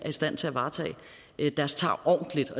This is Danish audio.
i stand til at varetage deres tarv ordentligt